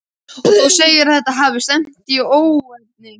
Og þú segir að þetta hafi stefnt í óefni?